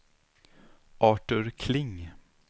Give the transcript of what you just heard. Artur Kling